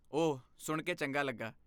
ਓਹ, ਸੁਣ ਕੇ ਚੰਗਾ ਲੱਗਾ।